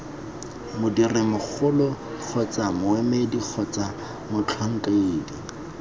modirimmogo kgotsa moemedi kgotsa motlhankedi